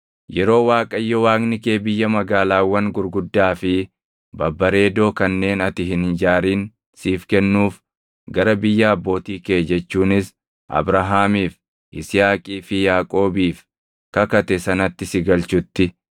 Yeroo Waaqayyo Waaqni kee biyya magaalaawwan gurguddaa fi babbareedoo kanneen ati hin ijaarin siif kennuuf gara biyya abbootii kee jechuunis Abrahaamiif, Yisihaaqii fi Yaaqoobiif kakate sanatti si galchutti,